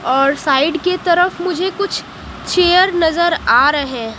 और साइड की तरफ मुझे कुछ चेयर नजर आ रहे हैं।